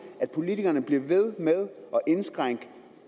at politikerne bliver ved med at indskrænke